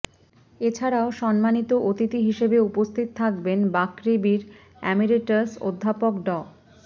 এছাড়াও সম্মানিত অতিথি হিসেবে উপস্থিত থাকবেন বাকৃবির অ্যামিরেটাস অধ্যাপক ড